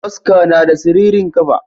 Kaska nada siririn kafa.